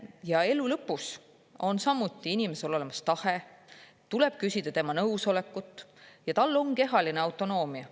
Ja elu lõpus on samuti inimesel olemas tahe, tuleb küsida tema nõusolekut ja tal on kehaline autonoomia.